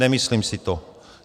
Nemyslím si to.